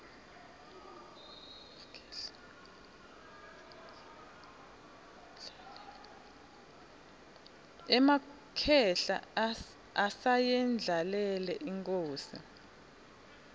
emakhehla asayendlalele inkhosi